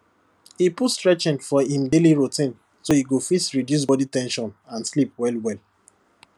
e put stretching for im daily routine so e go fit reduce body ten sion and sleep well well